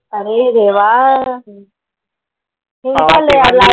अरे देवा.